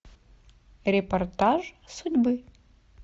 репортаж судьбы